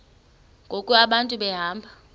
ngoku abantu behamba